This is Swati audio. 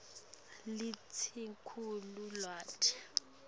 lelisetulu lwati